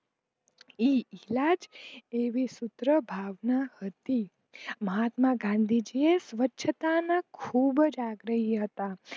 એમની એટલીજ આવી સુત્ર ભાવના હતી મહત્તમ ગાંધી સ્વચ્છતા ના ખુબજ આગાહી હતા.